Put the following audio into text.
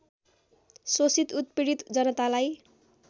शोषित उत्पीडित जनतालाई